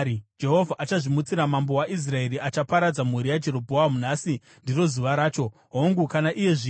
“Jehovha achazvimutsira mambo waIsraeri achaparadza mhuri yaJerobhoamu. Nhasi ndiro zuva racho! Hongu, kana iye zvino.